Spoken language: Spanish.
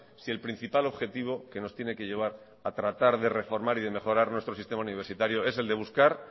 si el principal objetivo que nos tiene que llevar a tratar de reformar y de mejorar nuestro sistema universitario es el de buscar